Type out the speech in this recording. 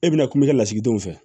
E bɛna kuma i ka lasigidenw fɛ